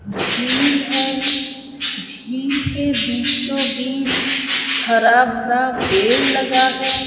झील है झील के बीचो बिच हरा भरा पेड़ लगा है।